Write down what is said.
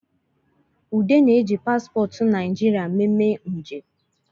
Ude na-eji paspọtụ naijiria meme nje